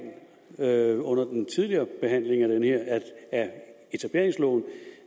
herre under den tidligere behandling af etableringsloven